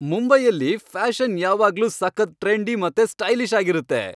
ಮುಂಬೈಯಲ್ಲಿ ಫ್ಯಾಷನ್ ಯಾವಾಗ್ಲೂ ಸಖತ್ ಟ್ರೆಂಡಿ ಮತ್ತೆ ಸ್ಟೈಲಿಷ್ ಆಗಿರತ್ತೆ.